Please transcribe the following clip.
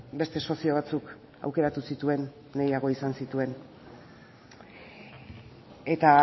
beste sozio batzuk aukeratu zituen nahiago izan zituen eta